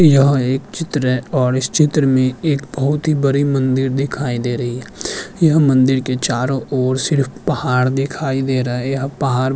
यह एक चित्र है और इस चित्र में एक बहुत ही बडी मंदिर दिखाई दे रही है यह मंदिर की चारो ओर सिर्फ़ पहाड़ दिखाई दे रही है यह पहाड़ --